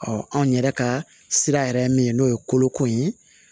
anw yɛrɛ ka sira yɛrɛ ye min n'o ye koloko in ye